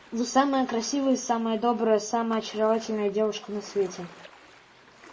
вы самая красивая самая добрая самая очаровательная девушка на свете